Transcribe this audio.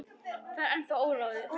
Það er ennþá óráðið.